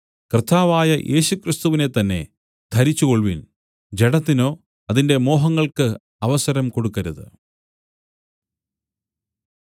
കർത്താവായ യേശുക്രിസ്തുവിനെത്തന്നെ ധരിച്ചുകൊൾവിൻ ജഡത്തിനോ അതിന്റെ മോഹങ്ങൾക്ക് അവസരം കൊടുക്കരുത്